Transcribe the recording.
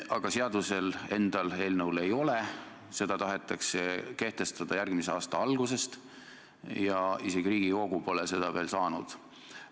Aga seadus tahetakse kehtestada 2021. aasta algusest, kuigi Riigikogu pole seda eelnõu veel saanud.